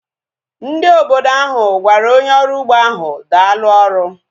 Ndị obodo ahu gwara onye ọrụ ugbo ahu daalu ọrụ